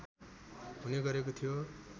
हुने गरेको थियो